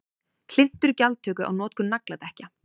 Hlynntur gjaldtöku á notkun nagladekkja